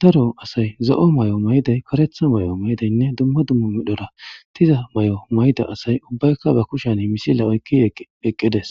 daro asay zo'o mayo mayiday karetha mayo mayidaynne dumma dumma medhora diza mayo mayida asay ubbayka be kushen misils oykidi eqqides.